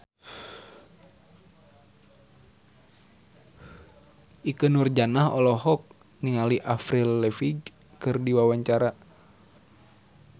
Ikke Nurjanah olohok ningali Avril Lavigne keur diwawancara